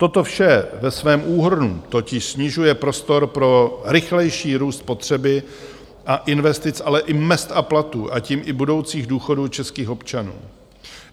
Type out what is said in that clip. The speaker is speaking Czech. Toto vše ve svém úhrnu totiž snižuje prostor pro rychlejší růst potřeby (?) a investic, ale i mezd a platů, a tím i budoucích důchodů českých občanů.